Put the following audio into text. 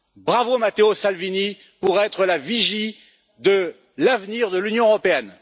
Bravo Matteo Salvini pour être la vigie de l'avenir de l'Union européenne!